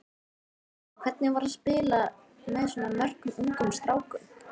En hvernig var að spila með svona mörgum ungum strákum?